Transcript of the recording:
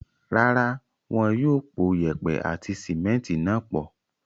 Rárá, wọ́n yóò pò yèèpẹ̀ àti símẹ́ńtì náà pọ̀.